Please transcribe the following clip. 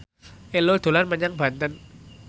Ello dolan menyang Banten